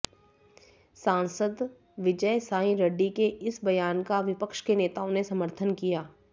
सांसद विजयसाई रेड्डी के इस बयान का विपक्ष के नेताओं ने समर्थन किया